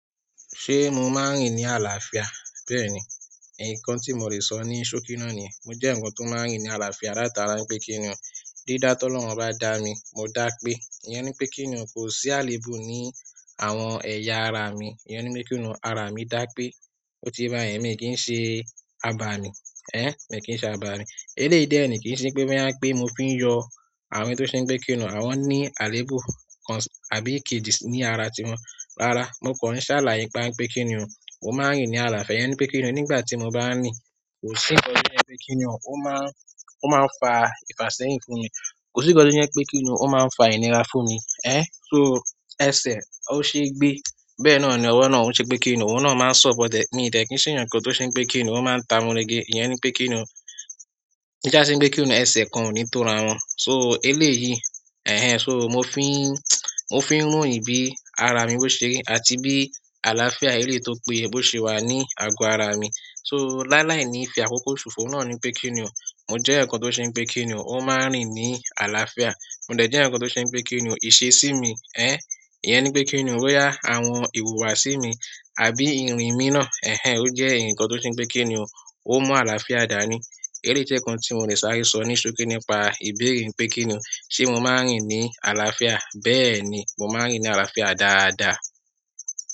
Ṣé mo máa ń rìn ní àlàáfíà? Bẹ́ẹ̀ni. Nkan tí mo lè sọ ní ṣókí náà ni, mo jẹ́ ǹkan tó máa ń rìn ní àlàáfíà látara pé kíni o, dídá tó lọ́hùn bá dá mi, mo dáa pé, ìyẹn ni pé kíni o, kò sí àléébù ní àwọn ẹ̀yà ara mi. Ìyẹn ni pé kíni o, ara mi dáa pé, ó ti bá yẹ̀mí kì í ṣe abàmì, ẹ́ẹ̀, mi ò kí ń ṣe abàmì. Eléyìí dẹ́ẹ̀ni, kì í ṣe pé mọ́ yá pé mo fi ń yọ àwọn ètò tí ó ṣe pé kíni o, àwọn ní àléébù kàn àbí kejì ní ara tiwọn. Rárá, mo kan ṣàlàyé nípa pé kíni o, mo máa ń rìn ní àlàáfíà. Ìyẹn ni pé kíni o, nígbà tí mo bá ń rìn, kò sí ǹkan tí ó yẹ pé kíni o, ó máa ń, ó máa ń fa ìfàṣẹ́yìn fún mi. Kò sí ǹkan tí ó yẹ pé kíni o, ó máa ń fa ìnira fún mi. Ẹ́ẹ̀, so, ẹsẹ̀ ó ṣe gbé. Bẹ́ẹ̀ ni ọ̀nà ọwọ́ náà ń ṣe pé kíni o, òun náà máa ń support e. Mi ìdẹ̀ kí ń ṣeyan kan tí ó ṣe pé kíni o, ó máa ń ta múrege. Ìyẹn ni pé kíni o, ki sa se pe kíni o, ẹsẹ̀ kan ò ní tó ra wọn. So eléyìí, ẹ̀ẹ̀hen. Ṣó mo fi ń, mo fi ń ròyìn bí ara mi boṣe, àti bí àlàáfíà eléyìí tó péye bose wà ní àgọ́ ara mi. So láàláì ni fi àkókò ṣòfò náà ní pé kíni o. Mo jẹ́ ǹkan tó ṣe pé kíni o, ó máa ń rìn ní àlàáfíà. Mo dẹ̀ jẹ́ ǹkan tó ṣe pé kíni o, ìse sí mi. Ẹ́ẹ̀, ìyẹn ni pé kíni o, bóyá àwọn ìwùwà sí mi. Àbí irin mí náà, ẹ̀ẹ̀hen, ó jẹ́ ǹkan tó ṣe pé kíni o, ó mú àlàáfíà dáa ni. Eléyìí jẹ́ ǹkan tí mo lè sáré sọ ní ṣókí nípa ìbéèrè pé kíni o, ṣe mo máa ń rìn ní àlàáfíà? Bẹ́ẹ̀ni, mo máa ń rìn ní àlàáfíà dáadáa.